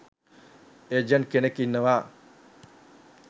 agent කෙනෙක් ඉන්නවා